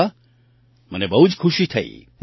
અરે વાહ મને બહુ જ ખુશી થઈ